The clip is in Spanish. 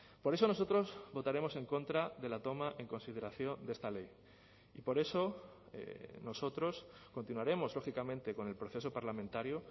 por eso nosotros votaremos en contra de la toma en consideración de esta ley y por eso nosotros continuaremos lógicamente con el proceso parlamentario